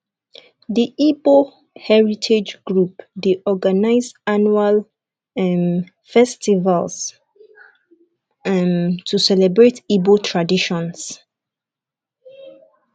the igbo heritage group dey organize annual um festivals um to celebrate igbo traditions